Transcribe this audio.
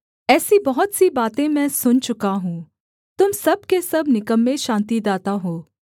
ऐसी बहुत सी बातें मैं सुन चुका हूँ तुम सब के सब निकम्मे शान्तिदाता हो